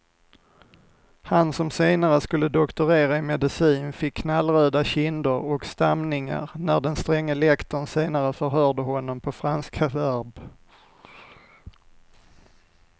Han som senare skulle doktorera i medicin fick knallröda kinder och stamningar när den stränge lektorn senare förhörde honom på franska verb.